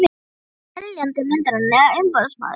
Hver var seljandi myndarinnar eða umboðsmaður hans?